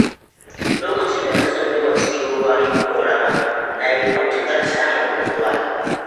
lokacin da na tsunduma cikin ruwan ƙoramar, na yi matuƙar samun nutsuwa.